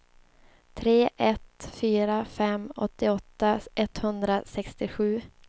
tre ett fyra fem åttioåtta etthundrasextiosju